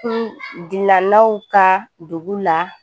Kun gilannaw ka dugu la